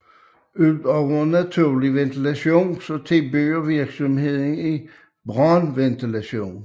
Udover naturlig ventilation tilbyder virksomheden i brandventilation